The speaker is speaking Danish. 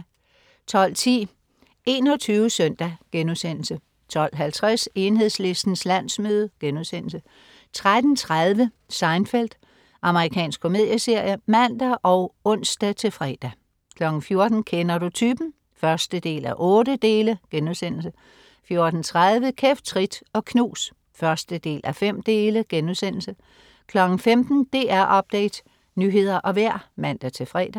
12.10 21 SØNDAG* 12.50 Enhedslistens landsmøde* 13.30 Seinfeld. Amerikansk komedieserie (man og ons-fre) 14.00 Kender du typen? 1:8* 14.30 Kæft, trit og knus 1:5* 15.00 DR Update. Nyheder og vejr (man-fre)